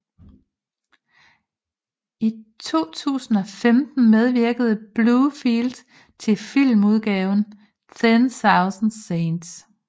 I 2015 medvirkede Butterfield i filmudgaven Ten Thousand Saints